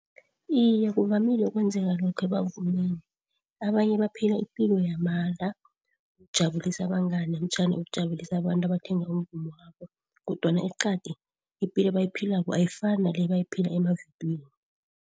Iye, kuvamile ukwenzeka lokho ebavumini. Abanye baphila ipilo yamanga ukujabulisa abangani namtjhana ukujabulisa abantu abathenga umvumo wabo kodwana eqadi ipilo abayiphilako ayifani nale abayaphila emavidiyweni.